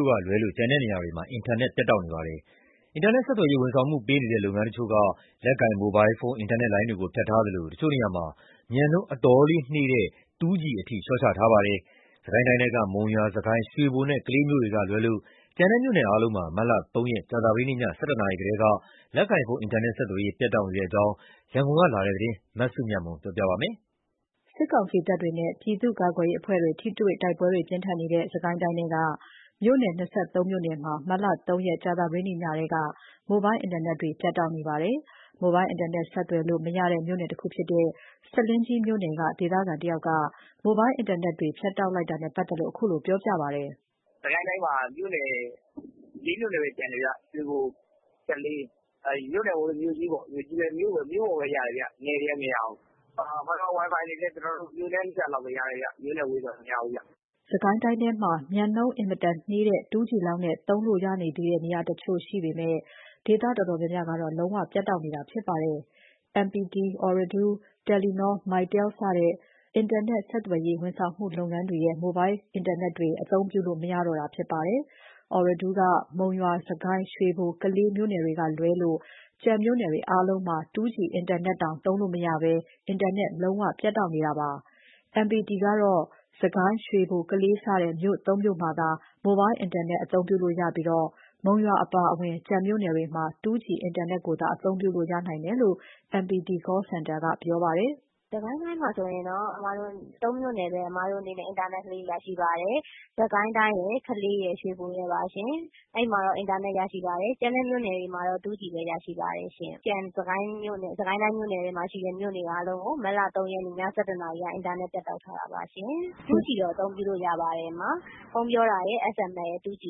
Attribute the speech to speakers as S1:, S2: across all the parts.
S1: ို့ကလွဲလို့ ကျန်တဲ့နေရာတွေမှာ အင်တာနက် ပြတ်နေပါတယ်။ အင်တာနက်ဆက်သွယ်ရေး ဝန်ဆောင်မှုပေးနေတဲ့ လုပ်ငန်း တချို့က လက်ကိုင်မိုဘိုင်းဖုန်း အင်တာနက်လိုင်းတွေကို ဖြတ်ထားသလို တချို့ က မြန်နှုန်းကို အတော်လေးနှေးတဲ့ 2G အထိ လျှော့ချထားပါတယ်။ စစ်ကိုင်းတိုင်းထဲက မုံရွာ၊ စစ်ကိုင်း၊ ရွှေဘိုနဲ့ကလေး မြို့တွေကလွဲလို့ ကျန်တဲ့ မြို့နယ်အားလုံးမှာ မတ်လ ၃ ရက် ကြာသပတေးနေ့ည ၁၁ နာရီထဲက လက်ကိုင်ဖုန်းအင်တာနက် ဆက်သွယ်မှုတွေ ပြတ်တောက်နေတဲ့အကြောင်း ရန်ကုန်ကလာတဲ့သတင်းကို မစုမြတ်မွန်က တင်ပြပေးထားပါတယ်။ စစ်ကောင်စီတပ်တွေနဲ့ ပြည်သူ့ ကာကွယ်ရေးအဖွဲ့တွေ ထိတွေ့တိုက်ပွဲတွေ ပြင်းထန်နေတဲ့ စစ်ကိုင်းတိုင်းထဲက မြို့နယ် ၂၃ မြို့နယ်မှာ မတ်လ ၃ ရက် ကြာသပတေးနေ့ ညကတည်းက မိုဘိုင်းအင်တာနက်တွေ ပြတ်တောက်နေပါတယ်။ မိုဘိုင်းအင်တာနက် ဆက်သွယ်လို့ မရတဲ့မြို့နယ်တခုဖြစ်တဲ့ ဆားလင်းကြီးမြို့နယ်က ဒေသခံတဦးက မိုဘိုင်းအင်တာနက်တွေ ဖြတ်တောက်လိုက်တာနဲ့ ပတ်သက်လို့ ခုလိုပြောပြပါတယ်။ “အင်တာနက်တွေက ကျနော်တို့ ဒီစစ်ကိုင်းတိုင်းမှာ မြို့နယ် ၄ မြို့နယ်ပဲကျန်တယ် ဗျ။ ရွှေဘို၊ ကလေး အဲ့လိုပေါ့- မြို့နယ်ထက် မြို့ကြီးမှာပဲ ရတယ်ဗျ။ နယ်တွေက မရဘူး။ Fiber Wifi တွေကလည်း မြို့နဲ့နီးတာတွေပဲ ရတယ်ဗျ။ မြို့နဲ့ ဝေးတာတွေ မရဘူး။ စစ်ကိုင်းတိုင်းထဲမှာ မြန်နှုန်းအင်မတန်နှေးတဲ့ 2G လောက်နဲ့ သုံးလို့ ရနေသေးတဲ့ နေရာတချို့ ရှိပေမယ့် ဒေသအတော်များများကတော့ လုံးဝ ပြတ်တောက်နေတာဖြစ်ပါတယ်။ MPT, Ooredoo, Telenor, Mytel စတဲ့ နက်ဆက်သွယ်ရေး ဝန်ဆောင်မှုလုပ်ငန်းတွေရဲ့ မိုဘိုင်းအင်တာနက်တွေ အသုံးပြုလို့မရတော့တာပါ။ Ooredoo က မုံရွာ၊ စစ်ကိုင်း၊ ရွှေဘို၊ ကလေး မြို့နယ်တွေကလွဲလို့ ကျန်မြို့နယ်တွေအားလုံးမှာ 2G အင်တာနက်တောင် သုံးလို့မရဘဲ အင်တာနက် လုံးဝ ပြတ်တောက်နေတာပါ။ MPT ကတော့ စစ်ကိုင်း၊ ရွှေဘို၊ ကလေး စတဲ့ မြို့ ၃ မြို့မှာသာ မိုဘိုင်း အင်တာနက် သုံးလို့ရပြီး မုံရွာအပါအဝင် ကျန်မြို့တွေမှာ 2G အင်တာနက်ကိုသာ သုံးလို့ ရနိုင်တယ်လို့ MPT Call Center က ပြောပါတယ်။ “စစ်ကိုင်းတိုင်းမှာ ဆိုရင်တော့ ၃ မြို့နယ်ပဲ အင်တာနက် ရပါတယ်။ စစ်ကိုင်းရယ်၊ ကလေးရယ်၊ ရွှေဘိုရယ်ပါရှင်။ ကျန်တဲ့ မြို့နယ်တွေမှာတော့ 2G ပဲရပါတယ်။ စစ်ကိုင်းတိုင်းထဲက ကျန်မြို့နယ်တွေ အားလုံးကို မတ်လ ၃ ရက်နေ့ ည ၁၁ နာရီကနေစပြီးအင်တာနက် ဖြတ်တောက်ထားတာပါရှင်။ ဖုန်းပြောတာရယ်၊ SMS ရယ်နဲ့ 2G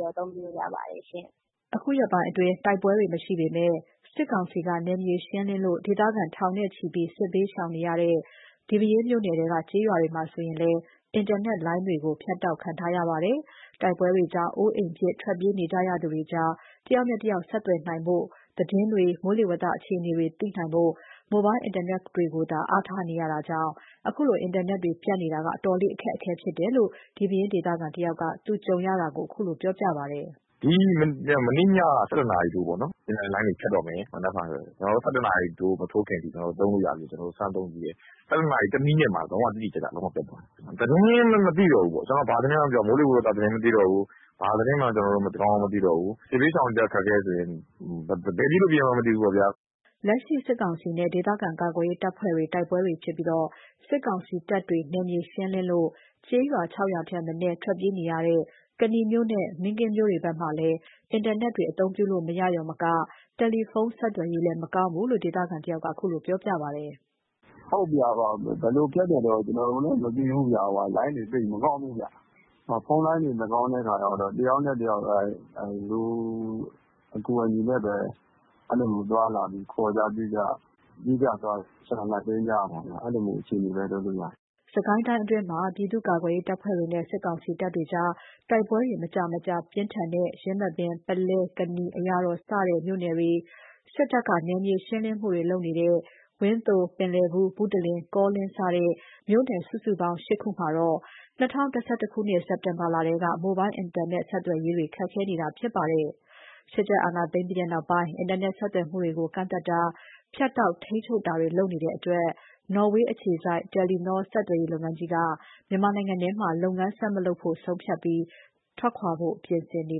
S1: တော့ အသုံးပြုလို့ရပါတယ်။” ဒီရက်ပိုင်းမှာ တိုက်ပွဲတွေ မရှိပေမယ့် စစ်ကောင်စီက နယ်မြေရှင်းလင်းလို့ ဒေသခံ ထောင်နဲ့ချီပြီး စစ်ဘေးရှောင်နေရတဲ့ ဒီပဲယင်းမြို့နယ်ထဲက ကျေးရွာတွေမှာဆိုရင်လည်း အင်တာနက်လိုင်းတွေကို ဖြတ်တောက်ခံထားရပါတယ်။ တိုက်ပွဲတွေကြောင့် အိုးအိမ်ပစ် ထွက်ပြေးနေကြရသူတွေကြား တယောက်နဲ့တယောက်ဆက်သွယ်နိုင်ဖို့ သတင်းတွေ မိုးလေဝသအခြေအနေတွေ သိနိုင်ဖို့ မိုဘိုင်းအင်တာနက်တွေကိုသာ အားထားနေကြရတာကြောင့် အခုလို အင်တာနက်တွေပြတ်နေတာက အတော်လေး အခက်အခဲဖြစ်တယ်လို့ ဒီပဲယင်းဒေသခံတဦးက သူကြုံခဲ့ရတာကို အခုလိုပြောပြပါတယ်။ “မနေ့ညက ၁၁ နာရီထိုးပေါ့နော်။ အင်တာနက်လိုင်းတွေဖြတ်တော့မယ် မနက်ဖြန်ဆိုရင် အင်တာနက်လိုင်းတွေ ၁၁ နာရီမထိုးခင်အထိ သုံးလို့ရသေးတယ်။ ကျနော်တို့ စမ်းသုံးကြည့်တယ်။ ၁၁ နာရီ ၁ မိနစ်မှာ လုံး၀ တိတိကျကျ ပြတ်သွားတယ်။ ကျနော်တို့ဘာသတင်းမှ မသိတော့ဘူး။ မိုးလေဝသ သတင်းမသိတော့ဘူး။ ဘာသတင်းမှ ကောင်းကောင်းမသိတော့ဘူး။ စစ်ဘေးရှောင်တွေအတွက် အခက်အခဲဆိုရင် ဘယ်ပြေးလို့ ပြေးရမှန်းမသိတော့ဘူးပေါ့ဗျာ။” လက်ရှိ စစ်ကောင်စီနဲ့ ဒေသခံကာကွယ်ရေး တပ်ဖွဲ့တွေ တိုက်ပွဲတွေဖြစ်ပြီး စစ်ကောင်စီတပ်တွေ နယ်မြေရှင်းလင်းလို့ ကျေးရွာ ၆ ရွာထက်မနည်း ထွက်ပြေးနေရတဲ့ ကနီမြို့နဲ့ မင်းကင်းမြို့ကြားမှာလည်း အင်တာနက်တွေ အသုံးပြုလို့မရရုံမက တယ်လီဖုန်းတွေဆက်သွယ်ရေးလဲ မကောင်းဘူးလို့ ဒေသခံတဦးက အခုလိုပြောပါတယ်။ “ဘယ်လိုဖြတ်တယ်တော့ ကျနော်တို့လည်း မသိဘူး။ လိုင်းတွေသိပ်မကောင်းဘူးဗျ။ ဖုန်းလိုင်းတွေ မကောင်းတဲ့အခါကျတော့ တယောက်နဲ့တယောက် လူအကူအညီနဲ့ပဲ ခေါ်ကြပြုကြ ပြေးကြလွှားကြ ရှောင်ကြတိမ်းကြတာဗျ။ အဲ့လိုအခြေအနေပဲ လုပ်လို့ရနေတယ်။” စစ်ကိုင်းတိုင်းအတွင်းမှာ ပြည်သူကာကွယ်ရေးတပ်ဖွဲ့တွေနဲ့ စစ်ကောင်စီတပ်တွေကြား တိုက်ပွဲတွေ မကြာမကြာ ပြင်းထန်တဲ့ ယင်းမာပင်၊ ပုလဲ၊ ကနီ၊ အရာတော်စတဲ့ မြို့နယ်တွေ- စစ်တပ်က နယ်မြေရှင်းလင်းမှုတွေ လုပ်နေတဲ့ ဝန်းသို၊ ပင်လည် ဘူး၊ ဘုတလင်၊ ကောလင်း စတဲ့ မြို့နယ် စုစုပေါင်း ၈ ခုမှာတော့ ၂၀၂၁ ခုနှစ် စ က်တင်ဘာလထဲက မိုဘိုင်းအင်တာနက်ဆက်သွယ်ရေး ခက်ခဲနေတာဖြစ်ပါတယ်။ စစ်တပ်အာဏာသိမ်းပြီးတဲ့နောက် အင်တာနက်ဆက်သွယ်မှုတွေကို ကန့်သတ် တာ၊ ဖြတ်တောက် ထိန်းချုပ်နေတာတွေ လုပ်နေတဲ့အတွက် နော်ဝေးအခြေစိုက် Telenor ဆက်သွယ်ရေးလုပ်ငန်းကြီးက မြန်မာနိုင်ငံထဲမှာ လုပ်ငန်းဆက်မလုပ်ဖို့ ဆုံးဖြတ်ပြီး ထွက်ခွာဖို့ ပြင်ဆင်နေ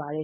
S1: ပါတယ်